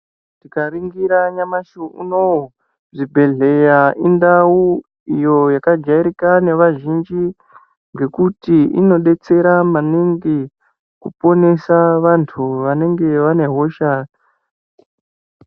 Tikaringira nyamashi unowu, zvibhedhleya indau iyo yakajairika nevazhinji ngekuti inodetsera maningi kuponesa vantu vanenga vane hosha.